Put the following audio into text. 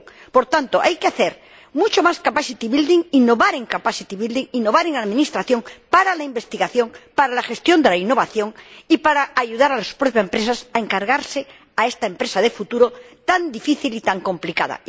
Por tanto, hay que hacer mucha más capacity building innovar en capacity building innovar en administración para la investigación, para la gestión de la innovación y para ayudar a las propias empresas a empeñarse en esta empresa de futuro tan difícil y tan complicada.